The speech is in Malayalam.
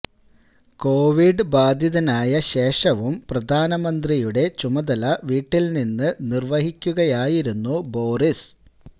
കോവിഡ് ബാധിതനായ ശേഷവും പ്രധാനമന്ത്രിയുടെ ചുമതല വീട്ടിൽ നിന്നു നിർവഹിക്കുകയായിരുന്നു ബാേറിസ്